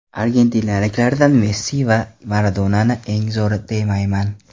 Argentinaliklardan Messi yo Maradonani eng zo‘ri demayman.